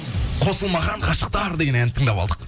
қосылмаған ғашықтар деген әнді тыңдап алдық